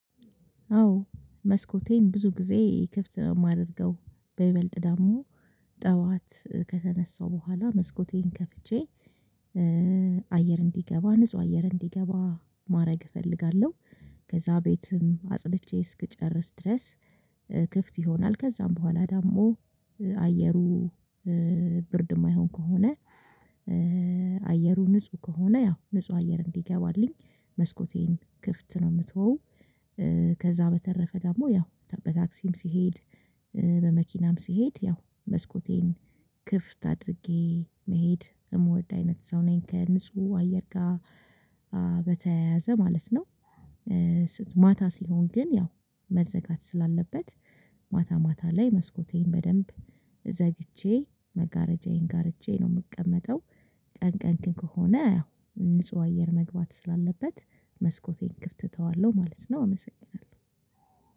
አዎ መስኮቴን ብዙ ጊዜ ክፍት ነው የማደርገው በይበልጥ ደግሞ ጠዋት በኋላ መስኮቴን ከፍቼ አየር እንዲገባ ንጹህ አየር እንዲገባ ማድረግ እፈልጋለሁ። ከዛ ቤትም አጽድቼ እስክጨርስ ድረስ ክፍት ይሆናል ከዛም በኋላ ደግሞ አየሩ ብርድ የማይሆን ከሆነ አየሩ ንጹህ ከሆነ ያው ንጹህ አየር እንዲገባልኝ መስኮቴን ክፍት ነው የምትወው። ከዛ በተረፈ ደግሞ ያው በታክሲም ስሄድ በመኪናም ስሄድ ያው መስኮቴን ክፍት አድርጌ መሄድ የምወድ አይነት ሰው ነኝ ከንጹህ አየር ጋር በተያያዘ ማለት ነው። ማታ ሲሆን ግን ያው መዘጋት ስላለበት ማታ ማታ ላይ መስኮቴን በደንብ ዘግቼ መጋረጃዬን ጋርጄ ነው የምቀመጠው። ቀን ቀን ከሆነ ንጹህ አየር መግባት ስላለበት መስኮቴን ክፍት እተዋለሁ ማለት ነው። አመሰግናለሁ።